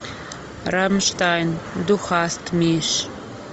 рамштайн ду хаст миш